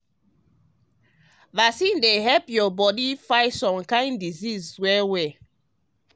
vaccines um dey help you body fight some um kin diseases well well. um